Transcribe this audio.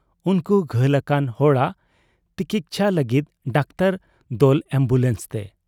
ᱩᱱᱠᱩ ᱜᱷᱟᱹᱞ ᱟᱠᱟᱱ ᱦᱚᱲᱟᱜ ᱛᱤᱠᱪᱷᱟᱹ ᱞᱟᱹᱜᱤᱫ ᱰᱟᱠᱛᱚᱨ ᱫᱚᱞ ᱟᱢᱵᱩᱞᱟᱱᱥ ᱛᱮ ᱾